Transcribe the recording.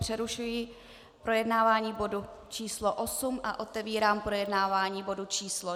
Přerušuji projednávání bodu číslo 8 a otevírám projednávání bodu číslo